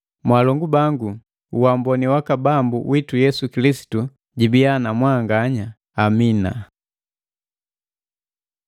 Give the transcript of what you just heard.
Mwaalongu bangu, uamboni waka Bambu witu Yesu Kilisitu jibiya na mwanganya. Amina.